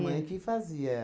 Mãe que fazia.